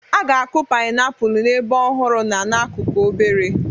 A ga-akụ painiapulu n'ebe ọhụrụ na n'akụkụ obere.